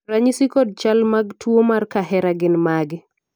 ranyisi kod chal mag tuo mar kahera gin mage?